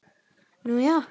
Nú, já!